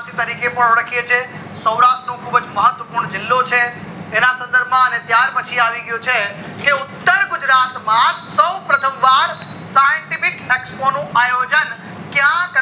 તરીકે ઓળખીએ છીએ સૌરાષ્ટ્ર નો ખુબ મહત્વ પૂર્ણ જીલ્લો છે એના સંદર્ભ માં પછી આવી ગયું છે કે ઉત્તર ગુજરાત માં સૌ પ્રથમ વાર scientific expo નું આયોજન ક્યાં કર